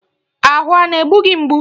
Ahụ a na-egbu gị mgbu?